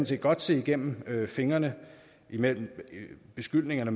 set godt se gennem fingre med beskyldningerne